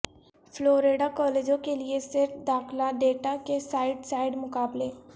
Florida کالجوں کے لئے سیٹ داخلہ ڈیٹا کے سائیڈ سائیڈ مقابلے